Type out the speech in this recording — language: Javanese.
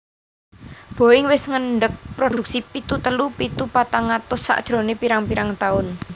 Boeing wis ngendeg produksi pitu telu pitu patang atus sajrone pirang pirang tahun